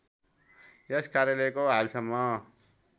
यस कार्यालयको हालसम्म